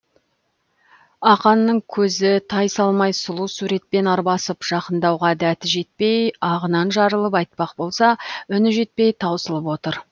ақанның көзі тайсалмай сұлу суретпен арбасып жақындауға дәті жетпей ағынан жарылып айтпақ болса үні жетпей таусылып отыр